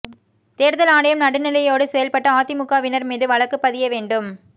தேர்தல் ஆணையம் நடுநிலையோடு செயல்பட்டு அதிமுகவினர் மீது வழக்கு பதிய வேண்டும்